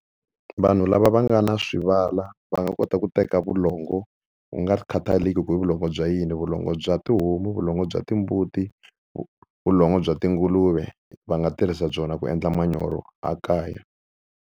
Vanhu lava va nga na swivandla va nga kota ku teka vulongo ku nga khataleki ku i vulongo bya yini vulongo bya tihomu, vulongo bya timbuti vulongo bya tinguluve va nga tirhisa byona ku endla manyoro a kaya.